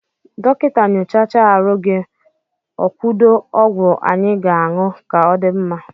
Dọkịta nyochacha arụ gị okwuo ọgwụ anyị ga-aṅụ ka ọ dị mma